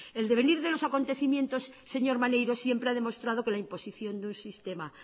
el devenir de los acontecimientos señor maneiro siempre ha demostrado que la imposición de un sistema